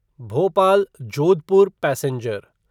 Bhopal Jodhpur passenger